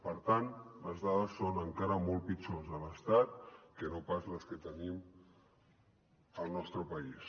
per tant les dades són encara molt pitjors a l’estat que no pas les que tenim al nostre país